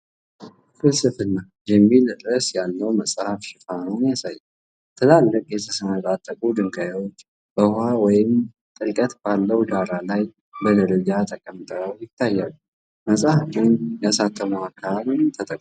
"ፍልስፍና" የሚል ርዕስ ያለውን መጽሐፍ ሽፋን ያሳያል። ትላልቅ፣ የተሰነጣጠቁ ድንጋዮች በውሃ ወይም ጥልቀት ባለው ዳራ ላይ በደረጃ ተቀምጠው ይታያሉ። (መጽሐፉን ያሳተመው አካል ተጠቅሷል።)